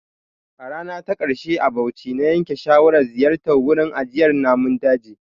A rana ta ƙarshe a Bauchi, na yanke shawarar ziyartar wurin ajiyar Namun daji.